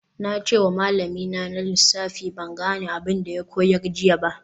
Na ce wa malamina na lissafi ban gane abin da ya koyar jiya ba